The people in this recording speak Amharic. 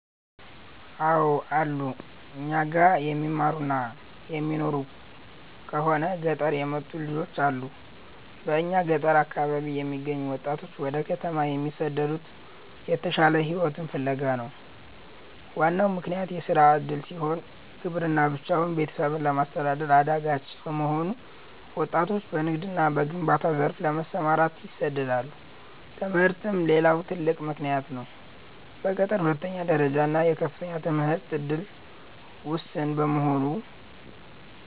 አው አሉ, እኛ ጋር የሚማሩና የሚኖሩ ከሆነ ገጠር የመጡ ልጆች አሉ በእኛ ገጠር አካባቢ የሚገኙ ወጣቶች ወደ ከተማ የሚሰደዱት የተሻለ ሕይወትን ፍለጋ ነው። ዋናው ምክንያት የሥራ ዕድል ሲሆን፣ ግብርና ብቻውን ቤተሰብን ለማስተዳደር አዳጋች በመሆኑ ወጣቶች በንግድና በግንባታ ዘርፍ ለመሰማራት ይሰደዳሉ። ትምህርትም ሌላው ትልቅ ምክንያት ነው። በገጠር የሁለተኛ ደረጃና የከፍተኛ ትምህርት ዕድል ውስን በመሆኑ፣